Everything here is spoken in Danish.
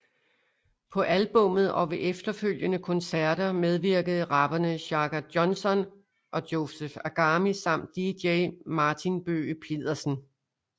På albummet og ved efterfølgende koncerter medvirkede rapperne Shaka Johnson og Joseph Agami samt DJ Martin Bøge Pedersen